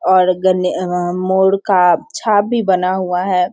और गन्ने आ मोर का छाप भी बना हुआ है।